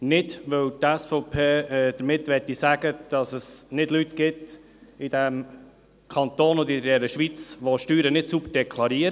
Nicht, weil die SVP damit sagen möchte, dass es im Kanton oder in der Schweiz keine Leute gibt, die Steuern nicht sauber deklarieren.